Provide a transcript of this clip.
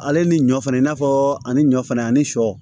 Ale ni ɲɔ fɛnɛ i n'a fɔ ani ɲɔ fɛnɛ ani sɔ